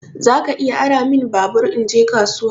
Zaka iya ara min babur in je kasuwa?